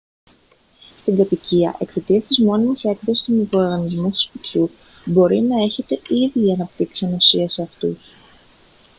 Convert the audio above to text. στην κατοικία εξαιτίας της μόνιμης έκθεσης στους μικροοργανισμούς του σπιτιού μπορεί να έχετε ήδη αναπτύξει ανοσία σε αυτούς